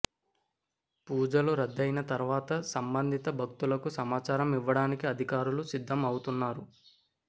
పూజలు రద్దు అయిన తరువాత సంబంధిత భక్తులకు సమాచారం ఇవ్వడానికి అధికారులు సిద్దం అవుతున్నారు